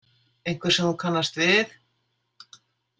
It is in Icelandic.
Einhver sem þú kannast við?